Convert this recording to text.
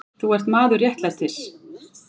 Þú ert maður réttlætisins.